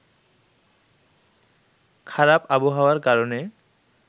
খারাপ আবহাওয়ার কারণে